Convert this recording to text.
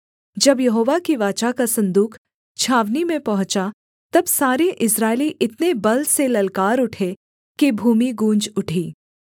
जब यहोवा की वाचा का सन्दूक छावनी में पहुँचा तब सारे इस्राएली इतने बल से ललकार उठे कि भूमि गूँज उठी